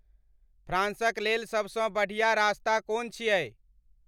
फ्राँसक लेल सभसँ बढ़िया रास्ता कोन छियै